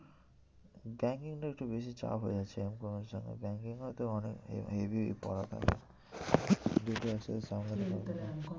Banking টা একটু বেশি চাপ হয়ে যাচ্ছে M com এর জন্য banking এও তো অনেক দুটো এক সাথে সামলাতে পারবো না।